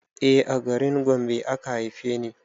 E a garin Gombe aka haife ni